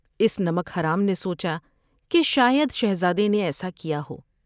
اس نمک حرام نے سوچا کہ شاید شہزادے نے ایسا کیا ہو ۔